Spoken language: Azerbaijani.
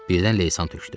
Birdən leysan tökdü.